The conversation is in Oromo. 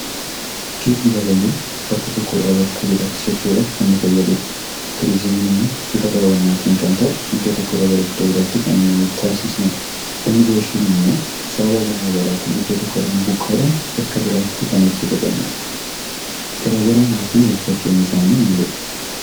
Geejjiba kan jennu bakka tokko irraa bakka biraatti socho'uudhaaf kan nu fayyaduu dha. Turizimiin immoo bifa daawwannaatiin kan ta'u iddoo tokko irraa gara iddoo biraatti kan taasisnuu dha. Immigireeshiniin immoo sababa garaagaraatiin iddoo tokkorraa buqqa'uudhaan bakka biraatti kan nuti baqannuu dha. Garaagarummaa fi walfakkeenyi isaanii maalidha?